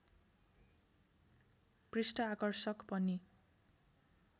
पृष्ठ आकर्षक पनि